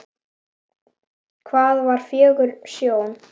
Það var fögur sjón.